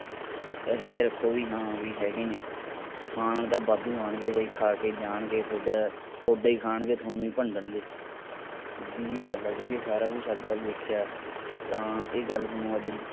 ਇਹੇ ਜਾ ਰੱਖੋ ਕਿ ਹਾਂ ਬਈ ਹੈਗੇ ਨੇ ਖਾਣ ਤਾਂ ਵਾਧੂ ਆਉਣਗੇ ਬਈ ਖਾ ਕੇ ਜਾਣਗੇ ਥੋਡਾ ਥੋਡਾ ਹੀ ਖਾਣਗੇ ਤੁਹਾਨੂੰ ਹੀ ਭੰਡਣਗੇ ਸਿੱਧੀ ਜੀ ਗੱਲ ਆ ਕਿਉਕਿ ਸਾਰਾ ਕੁਝ ਅੱਜ ਕੱਲ ਦੇਖਿਆ ਤਾਂ ਇਹ ਗੱਲ ਤੁਹਾਨੂੰ ਅੱਜ